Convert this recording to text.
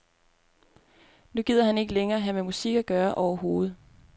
Nu gider han ikke længere have med musik at gøre overhovedet.